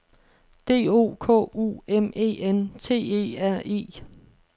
D O K U M E N T E R E